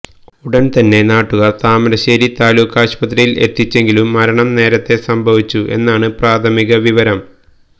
ഉടന് തന്നെ നാട്ടുകാര് താമരശ്ശേരി താലൂക്കാശുപത്രിയില് എത്തിച്ചെങ്കിലും മരണം നേരത്തെ സംഭവിച്ചു എന്നാണ് പ്രാഥമിക വിവരം